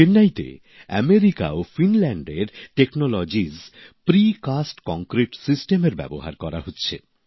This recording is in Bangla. চেন্নাইতে মার্কিন যুক্তরাষ্ট্র ও ফিনল্যান্ডের প্রযুক্তি প্রিকাস্ট কংক্রিট সিস্টেমের ব্যবহার করা হচ্ছে